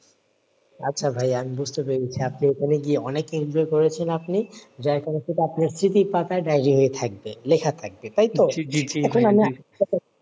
আচ্ছা ভাইয়া আমি বুঝতে পেরেছি আপনি ওখানে গিয়ে অনেক enjoy করেছেন আপনি যাই করেছেন সেটা আপনার স্মৃতির পাতায় diary হয়ে থাকবে লেখা থাকবে তাইতো?